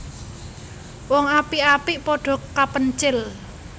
Wong apik apik padha kapencil